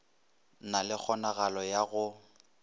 na le kgonagalo ya go